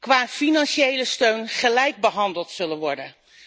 qua financiële steun gelijk behandeld zullen worden.